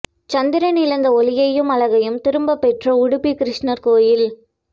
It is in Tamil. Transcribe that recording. சந்திரன் இழந்த ஒளியையும் அழகையும் திரும்பப் பெற்ற உடுப்பி கிருஷ்ணர் கோயில்